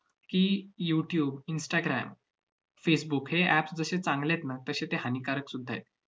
की, youtube instagram facebook हे apps जसे चांगले आहेत ना, तसे ते हानिकारक सुद्धा आहेत.